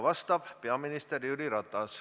Härra minister!